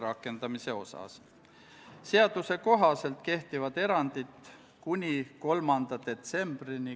Palun võtta seisukoht ja hääletada!